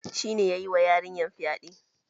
Shine ya yiwa yarinyar fyaɗe.